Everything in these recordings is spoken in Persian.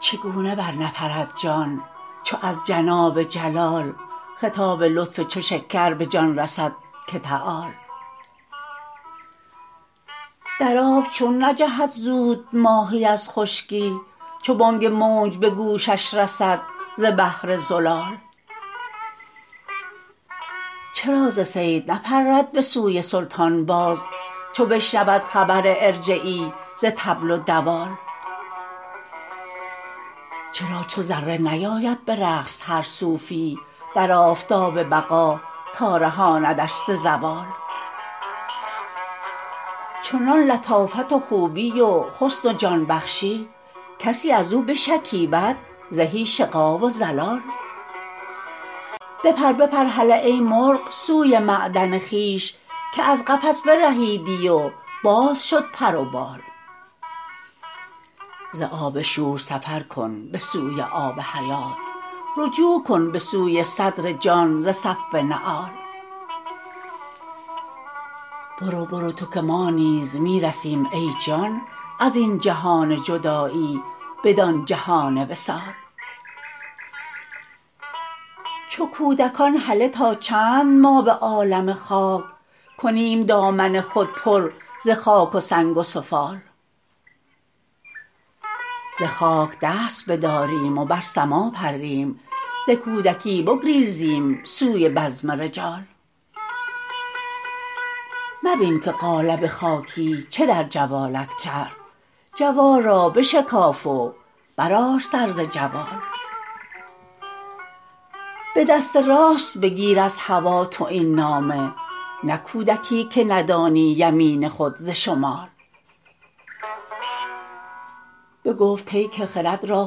چگونه برنپرد جان چو از جناب جلال خطاب لطف چو شکر به جان رسد که تعال در آب چون نجهد زود ماهی از خشکی چو بانگ موج به گوشش رسد ز بحر زلال چرا ز صید نپرد به سوی سلطان باز چو بشنود خبر ارجعی ز طبل و دوال چرا چو ذره نیاید به رقص هر صوفی در آفتاب بقا تا رهاندش ز زوال چنان لطافت و خوبی و حسن و جان بخشی کسی از او بشکیبد زهی شقا و ضلال بپر بپر هله ای مرغ سوی معدن خویش که از قفس برهید و باز شد پر و بال ز آب شور سفر کن به سوی آب حیات رجوع کن به سوی صدر جان ز صف نعال برو برو تو که ما نیز می رسیم ای جان از این جهان جدایی بدان جهان وصال چو کودکان هله تا چند ما به عالم خاک کنیم دامن خود پر ز خاک و سنگ و سفال ز خاک دست بداریم و بر سما پریم ز کودکی بگریزیم سوی بزم رجال مبین که قالب خاکی چه در جوالت کرد جوال را بشکاف و برآر سر ز جوال به دست راست بگیر از هوا تو این نامه نه کودکی که ندانی یمین خود ز شمال بگفت پیک خرد را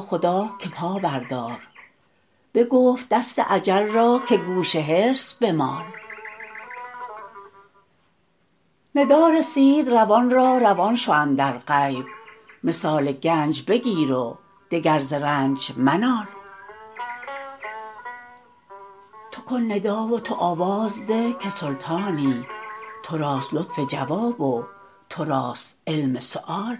خدا که پا بردار بگفت دست اجل را که گوش حرص بمال ندا رسید روان را روان شو اندر غیب منال و گنج بگیر و دگر ز رنج منال تو کن ندا و تو آواز ده که سلطانی تو راست لطف جواب و تو راست علم سؤال